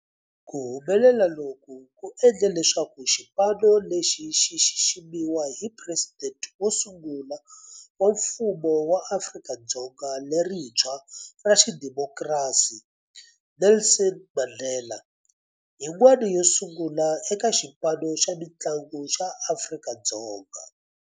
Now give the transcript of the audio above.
Ku humelela loku ku endle leswaku xipano lexi xi xiximiwa hi Presidente wo sungula wa Mfumo wa Afrika-Dzonga lerintshwa ra xidemokirasi, Nelson Mandela, yin'wana yo sungula eka xipano xa mintlangu xa Afrika-Dzonga.